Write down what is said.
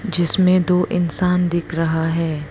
जिसमें दो इंसान दिख रहा है।